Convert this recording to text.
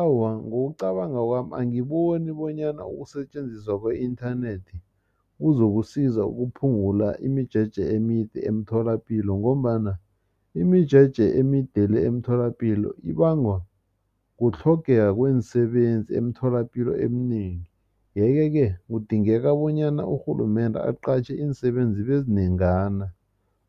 Awa, ngokucabanga kwami angiboni bonyana ukusetjenziswa kwe-inthanethi kuzokusiza ukuphungula imijeje emide emtholapilo ngombana imijeje emide le emtholapilo ibanga kutlhogeka kweensebenzi emtholapilo eminengi yeke-ke kudingeka bonyana urhulumende aqatjhe iinsebenzi ezinengana